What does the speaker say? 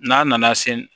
N'a nana se